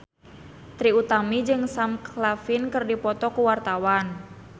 Trie Utami jeung Sam Claflin keur dipoto ku wartawan